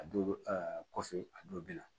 A dɔw bɛ kɔfɛ a dɔw bɛ na